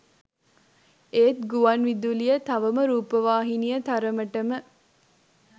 ඒත් ගුවන් විදුලිය තවම රූපවාහිනිය තරමටම